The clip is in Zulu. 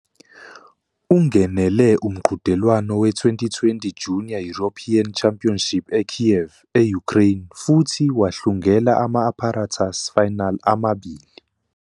Ungenele umqhudelwano we- 2020 Junior European Championship eKyiv, e-Ukraine futhi wahlungela ama-apparatus final amabili.